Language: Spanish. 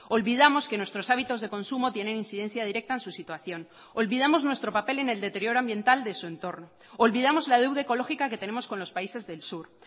olvidamos que nuestros hábitos de consumo tienen incidencia directa en su situación olvidamos nuestro papel en el deterioro ambiental de su entorno olvidamos la deuda ecológica que tenemos con los países del sur